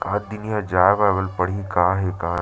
एकाद दिन यहाँ जाए वाय ल पड़ही का हे का--